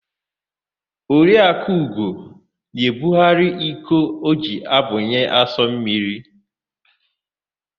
Oriakụ Ugo na-ebugharị iko o ji abunye asụmmiri.